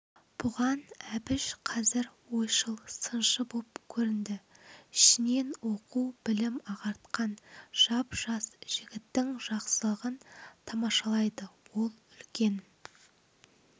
бұған әбіш қазір ойшыл сыншы боп көрінді ішінен оқу-білім ағартқан жап-жас жігіттің жақсылығын тамашалайды ол үлкен